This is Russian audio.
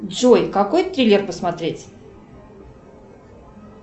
джой какой триллер посмотреть